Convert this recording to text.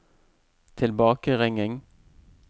tilbakeringing